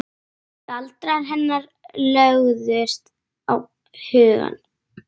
Hann á marga, marga hesta.